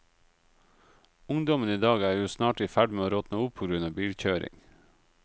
Ungdommen i dag er jo snart i ferd med å råtne opp på grunn av bilkjøring.